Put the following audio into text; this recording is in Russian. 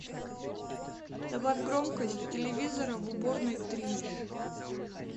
добавь громкость телевизора в уборной трижды